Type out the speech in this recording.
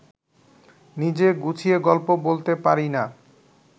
নিজে গুছিয়ে গল্প বলতে পারি না